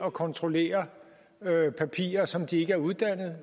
at kontrollere papirer som de ikke er uddannet